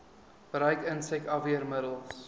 gebruik insek afweermiddels